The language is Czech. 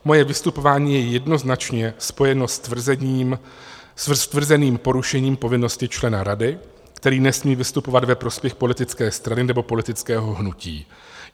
Moje vystupování je jednoznačně spojeno s tvrzeným porušením povinnosti člena rady, který nesmí vystupovat ve prospěch politické strany nebo politického hnutí.